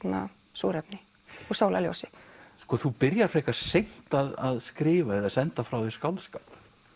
súrefni og sólarljósi sko þú byrjar frekar seint að skrifa eða senda frá þér skáldskap